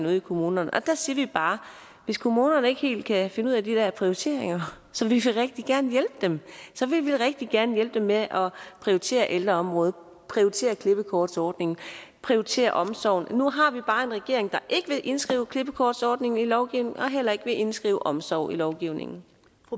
ude i kommunerne og der siger vi bare at hvis kommunerne ikke helt kan finde ud af de der prioriteringer så vil vi rigtig gerne hjælpe dem så vil vi rigtig gerne hjælpe dem med at prioritere ældreområdet at prioritere klippekortsordningen at prioritere omsorgen nu har vi bare en regering der ikke vil indskrive klippekortsordningen i lovgivningen og heller ikke vil indskrive omsorg i lovgivningen